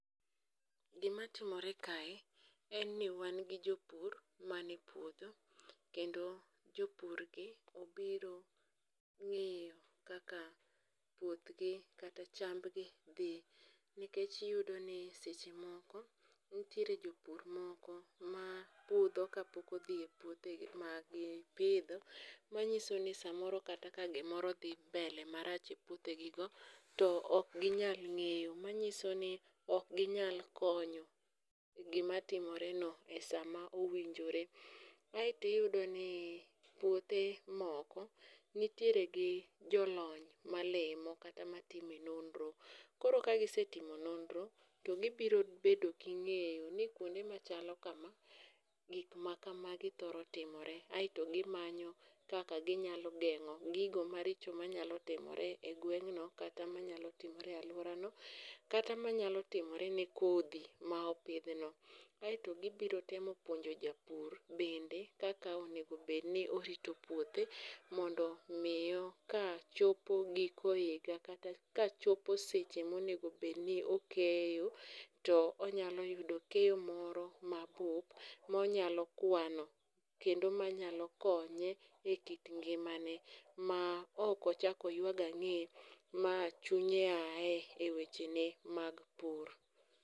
Gimatimore kae en ni wan gi jopur mane puodho kendo jopurgi obiro ng'iyo kaka puothgi kata chambgi dhi, nikech iyudo ni seche moko nitiere jopur moko ma budho ka pok odhi e puothe ma gipidho, manyiso ni samoro kata ka gimoro dhi mbele marach e puothegigo, to ok ginyal ng'eyo manyiso ni ok ginyal konyo gimatimoreno e sama owinjore. aeto iyudo ni puothe moko nitiere gi jolony malimo kata matime nonro ,koro kagisetimo nonro to gibiro bedo gi ng'eyo ni kwonde machalo kama, gik ma kamagi thoro timore, aeto gimanyo kaka ginyalo geng'o gigo maricho manyalo timore e gweng'no kata manyalo timore e alworano kata manyalo timore ne kodhi ma opidhno, aeto gibiro temo puonjo japur bende kaka onego obed ni orito puothe, mondo miyo ka chopo giko higa kata ka chopo seche monego obedni okeyo to onyalo yudo keyo moro mabup monyalo kwano kendo manyalo konye e kit ngimane ma ok ochak oywak ang'e ma chunye aye e wechene mag pur.